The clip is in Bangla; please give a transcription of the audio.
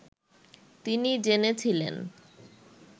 তিনি জেনেছিলেন